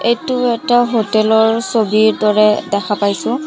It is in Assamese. এইটো এটা হোটেল ৰ ছবিৰ দৰে দেখা পাইছোঁ।